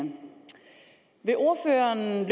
vil ordføreren